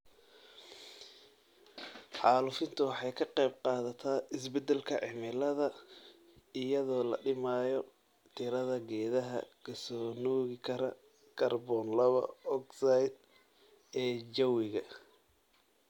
Xaalufintu waxay ka qayb qaadataa isbeddelka cimilada iyadoo la dhimayo tirada geedaha ka soo nuugi kara kaarboon laba ogsaydh ee jawiga.